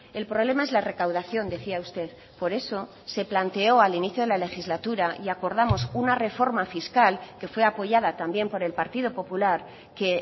el problema es la recaudación decía usted por eso se planteó al inicio de la legislatura y acordamos una reforma fiscal que fue apoyada también por el partido popular que